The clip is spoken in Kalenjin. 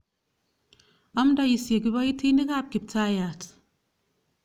Amndoisye kipoitinik ap Kiptaiyat.